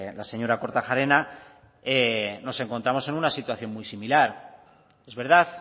la señora kortajarena nos encontramos en una situación muy similar es verdad